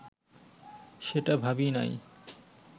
সেটা ভাবি নাই